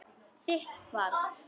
Þitt barn.